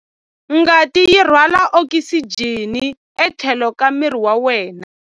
Ngati yi rhwala okisijeni etlhelo ka miri wa wena.